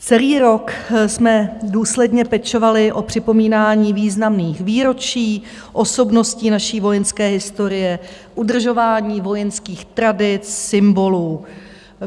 Celý rok jsme důsledně pečovali o připomínání významných výročí osobností naší vojenské historie, udržování vojenských tradic, symbolů.